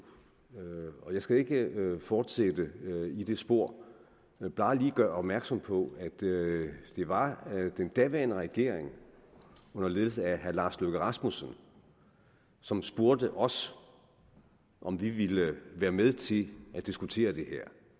jeg skal ikke fortsætte i det spor men bare lige gøre opmærksom på at det var den daværende regering under ledelse af herre lars løkke rasmussen som spurgte os om vi ville være med til at diskutere det her